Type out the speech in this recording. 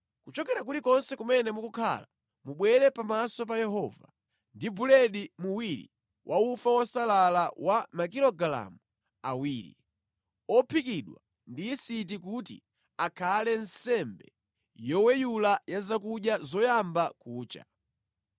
Kuchokera kulikonse kumene mukukhala, mubwere pamaso pa Yehova ndi buledi muwiri wa ufa wosalala wa makilogalamu awiri, ophikidwa ndi yisiti kuti akhale nsembe yoweyula ya zakudya zoyamba kucha.